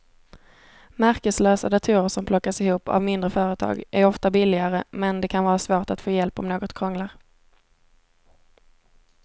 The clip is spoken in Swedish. Märkeslösa datorer som plockas ihop av mindre företag är ofta billigare men det kan vara svårt att få hjälp om något krånglar.